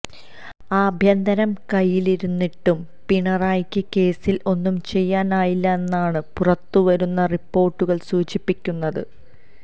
ആഭ്യന്തരം കൈയ്യിലിരുന്നിട്ടും പിണറായിക്ക് കേസില് ഒന്നും ചെയ്യാനായില്ലന്നാണ് പുറത്തുവരുന്ന റിപ്പോര്ട്ടുകള് സൂചിപ്പിക്കുന്നത്